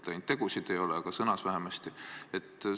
Ainult tegusid ei ole, aga sõnades vähemasti.